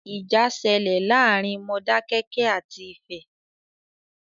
Ìjà ṣẹlẹ̀ láàárín Modákẹ́kẹ́ àti Ifẹ̀.